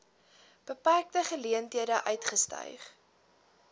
beperkte geleenthede uitgestyg